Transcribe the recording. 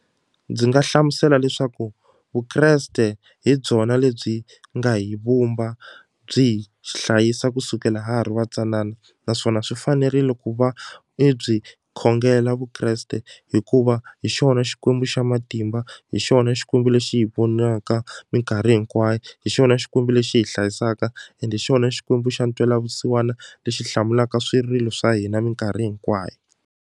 Ndzi nga hlamusela leswaku Vukreste hi byona lebyi nga hi vumba byi hi hlayisa kusukela ha ha ri va ntsanana naswona swi fanerile ku va i byi khongela Vukreste hikuva hi xona xikwembu xa matimba hi xona xikwembu lexi hi vonaka minkarhi hinkwayo hi xona xikwembu lexi hi hlayisaka and hi xona xikwembu xa ntwelavusiwana lexi hlamulaka swirilo swa hina minkarhi hinkwayo.